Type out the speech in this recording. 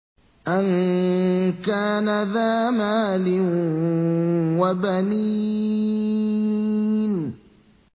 أَن كَانَ ذَا مَالٍ وَبَنِينَ